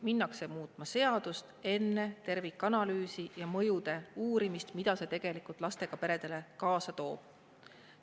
Minnakse muutma seadust enne tervikanalüüsi ja mõjude uurimist, mida see lastega peredele tegelikult kaasa toob.